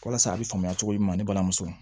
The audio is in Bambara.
Walasa a bɛ faamuya cogo min na ne balimamuso